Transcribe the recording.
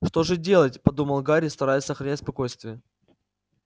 что же делать подумал гарри стараясь сохранять спокойствие